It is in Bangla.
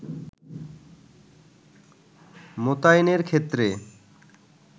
মোতায়েনের ক্ষেত্রে